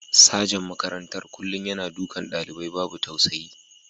Sajan makarantar kullum yana dukan dalibai babu tausayi.